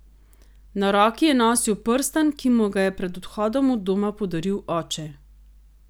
Na roki je nosil prstan, ki mu ga je pred odhodom od doma podaril oče.